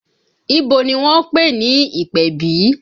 Ibo ni wọ́n ń pè ní ìpèbí?